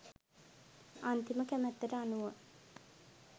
අන්තිම කැමැත්තට අනුව